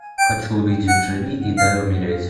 хочу увидеть живи и дай умереть